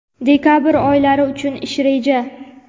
dekabr oylari uchun ish reja.